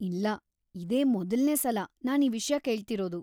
ಇಲ್ಲ, ಇದೇ ಮೊದಲ್ನೇ ಸಲ ನಾನ್ ಈ ವಿಷ್ಯ ಕೇಳ್ತಿರೋದು.